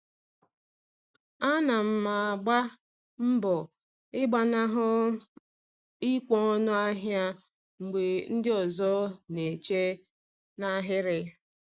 Ana m agba mbọ ịgbanahụ ikwe ọnụ ahịa mgbe ndị ọzọ na-eche n’ahịrị.